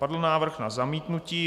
Padl návrh na zamítnutí.